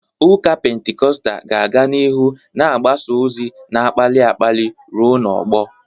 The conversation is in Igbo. Ụka Pentikọstal ga-aga n'ihu na-agbasa ozi na-akpali akpali ruo n'ọgbọ.